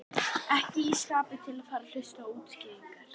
Ekki í skapi til að fara að hlusta á útskýringar.